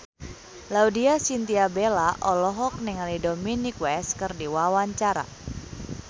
Laudya Chintya Bella olohok ningali Dominic West keur diwawancara